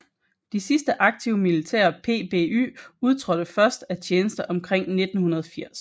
De sidste aktive militære PBY udtrådte først af tjeneste omkring 1980